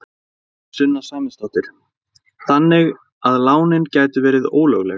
Sunna Sæmundsdóttir: Þannig að lánin gætu verið ólögleg?